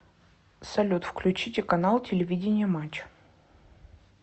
салют включите канал телевидения матч